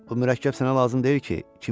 Bu mürəkkəb sənə lazım deyil ki?